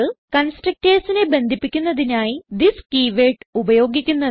constructorsനെ ബന്ധിപ്പിക്കുന്നതിനായി this keyword ഉപയോഗിക്കുന്നത്